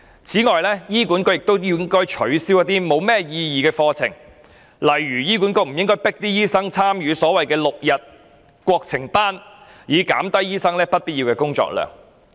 此外，醫管局亦應該取消一些毫無意義的課程，例如不應強迫醫生參與所謂的 "6 天國情班"，以減低醫生不必要的工作量。